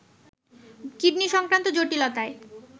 kidney সংক্রান্ত জটিলতায়